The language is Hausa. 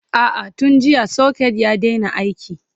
a'a tun jiya socket ya Daina aiki